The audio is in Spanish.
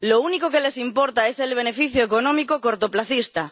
Lo único que les importa es el beneficio económico cortoplacista.